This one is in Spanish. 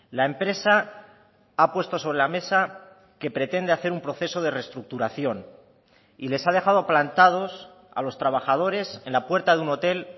la empresa ha puesto sobre la mesa que pretende hacer un proceso de restructuración y les ha dejado plantados a los trabajadores en la puerta de un hotel